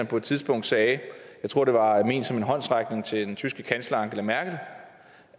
på et tidspunkt sagde jeg tror det var ment som en håndsrækning til den tyske kansler angela merkel